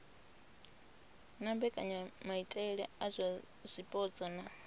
na mbekanyamaitele dza zwipotso na